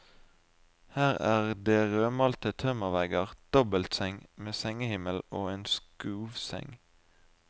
Her er det rødmalte tømmervegger, dobbeltseng med sengehimmel og en skuvseng.